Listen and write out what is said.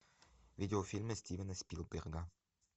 видеофильмы стивена спилберга